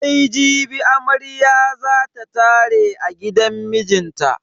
Sai jibi amarya za ta tare a gidan mijinta.